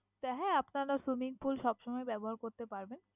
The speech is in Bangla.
তাই হ্যাঁ আপনারা swimming pool সবসময় ব্যবহার করতে পারবেন।